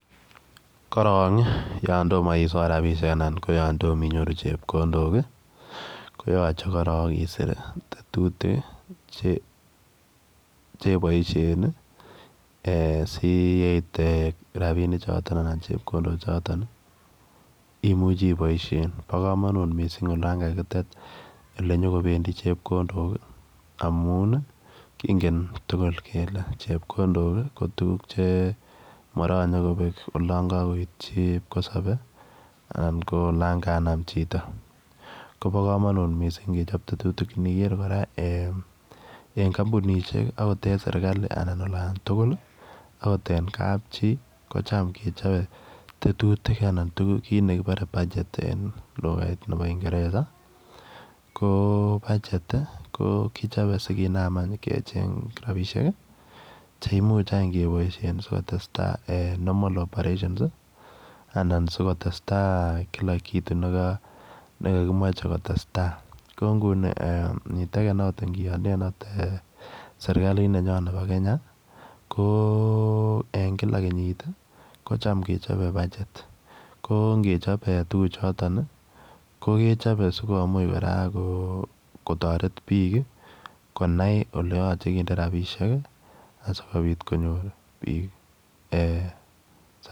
Korong yaan tomah isoor rapinik anan ko yaan tomah inyoruu chepkondook ii koyachei korong isiir tetutik ii che baisheen ii si yeit rapinik chotoon anan chepkondook chotoon imuchii iboisien bo kamanut missing olaan kakiteet ole nyoon kobendii chepkondook ii amuun ii kingen tugul kole chepkondook ii ko tuguuk che maranyei kobeek olaan kakoityi kipkosabe anan ko olaan kanam chitoo koba kamanut missing ingechaap tetutik iniger kora eeh kampunisheek akoot en serikali anan en olaan tugul ii akoot en kapchii kochaam kechape tetutiik kiit nekibare budget en lugait nebo ingereza ii ko [budget] ii kichape sikonam aany kecheeng rapisheek cheimuuch aany kebaisheen sikotestai normal operations ii anan sikotestai kila kitu neka kimachei ko testai kou nguni ingianien akoot serikaliit nebo Kenya ko en kila kenyiit ii kocham kechapeen [budget] ko ingechaap tuguuk chotoon ko kechape sikomuuch kora ko kotaret konai ole yachei kindee rapisheek ii asikobiit konyoor biik eeh.